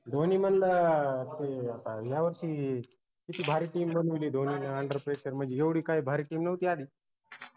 धोनी म्हनल अं ते आता या वर्षी किती भारी team बनवली ए धोनी न underpressure म्हनजी एवढी काय भारी team नव्हती आधी